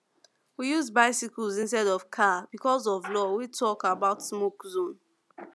we use bicycles instead of car because of law wey talk about smoke zone